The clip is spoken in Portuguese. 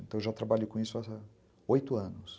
Então eu já trabalhei com isso há oito anos.